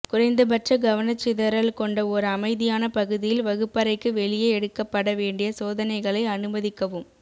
குறைந்தபட்ச கவனச்சிதறல் கொண்ட ஒரு அமைதியான பகுதியில் வகுப்பறைக்கு வெளியே எடுக்கப்பட வேண்டிய சோதனைகளை அனுமதிக்கவும்